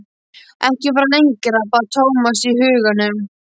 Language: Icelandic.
Ekki fara lengra, bað Thomas í huganum.